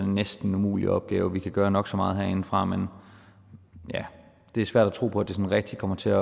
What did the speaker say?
næsten en umulig opgave vi kan gøre nok så meget herindefra men det er svært at tro på at det sådan rigtig kommer til at